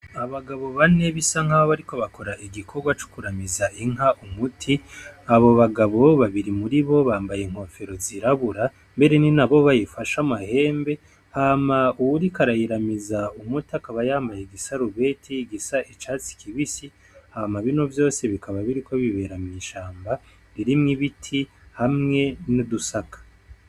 Abagabo bane bisa nkaho bariko bakora igikorwa cokuramiza inka umuti abo bagabo babiri muribo bambaye inkofero zirabura mbere ninabo bayifashe amahembe hama uwuriko arayiramiza amuti yambaye igisarubeti gisa icatsi kibisi, hama bino vyose bikaba biriko bibera mwishamba ririmwo ibiti hamwe n'udusaka.